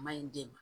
Maɲi den ma